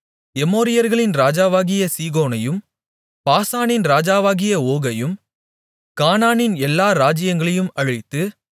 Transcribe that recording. எமோரியர்களின் ராஜாவாகிய சீகோனையும் பாசானின் ராஜாவாகிய ஓகையும் கானானின் எல்லா ராஜ்ஜியங்களையும் அழித்து